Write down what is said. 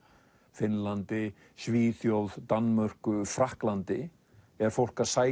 Finnlandi Svíþjóð Danmörku Frakklandi er fólk að sækja